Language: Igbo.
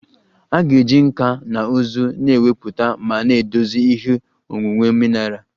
A ga-eji nkà na ụzụ na-ewepụta ma na-edozi ihe onwunwe mineral